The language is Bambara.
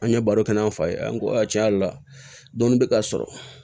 An ye baro kɛ n'an fa ye an ko a tiɲɛ yɛrɛ la dumuni bɛ ka sɔrɔ